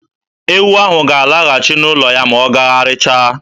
Ewu ahụ ga-alaghachi n'ụlọ ya ma ọ gagharịchaa.